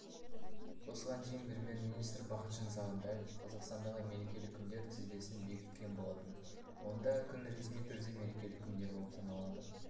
осыған дейін премьер-министрі бақытжан сағынтаев қазақстандағы мерекелік күндер тізбесін бекіткен болатын онда күн ресми түрде мерекелік күндер болып саналады